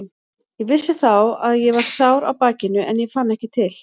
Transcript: Ég vissi þá að ég var sár á bakinu en ég fann ekki til.